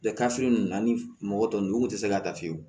ninnu ani mɔgɔ tɔ ninnu u kun tɛ se ka ta fiyewu